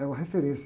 É uma referência.